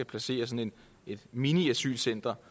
placeret i et midlertidigt center